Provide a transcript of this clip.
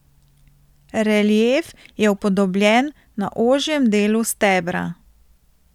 Relief je upodobljen na ožjem delu stebra.